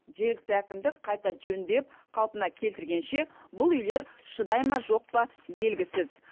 жергілікті әкімдік қайта жөндеп қалпына келтіргенше бұл үйлер шыдай ма жоқ па белгісіз